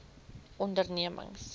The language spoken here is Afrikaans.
ondernemings